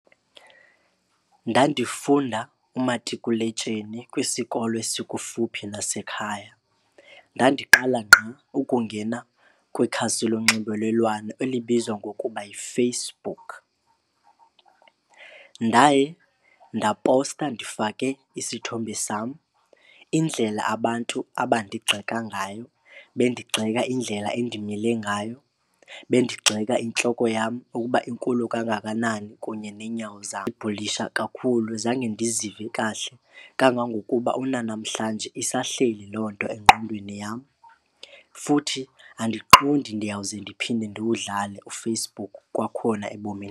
Ndandifunda umatikuletsheni kwisikolo esikufuphi nasekhaya. Ndandiqala ngqa ukungena kwikhasi lonxibelelwano elibizwa ngokuba yiFacebook. Ndaye ndaposta ndifake isithombe sam indlela abantu abandigxeka ngayo, bendigxeka indlela endimile ngayo, bendigxeka intloko yam ukuba inkulu kangakanani kunye neenyawo zam. bhulisha kakhulu zange ndizive kahle kangangokuba kunanamhlanje isahleli loo nto engqondweni yam futhi andiqondi ndiyawuze ndiphinde ndiwudlale uFacebook kwakhona ebomini.